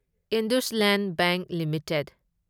IndusInd bank limited